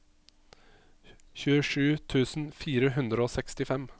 tjuesju tusen fire hundre og sekstifem